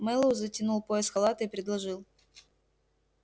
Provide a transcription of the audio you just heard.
мэллоу затянул пояс халата и предложил